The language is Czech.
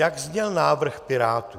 Jak zněl návrh Pirátů?